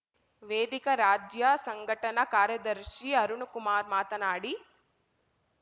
ವೇದಿಕ ರಾಜ್ಯ ಸಂಘಟನಾ ಕಾರ್ಯದರ್ಶಿ ಅರುಣಕುಮಾರ್ ಮಾತನಾಡಿ